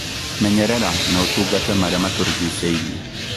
Menyerera na ũtungate marĩa matũrigicĩirie